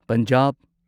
Punjab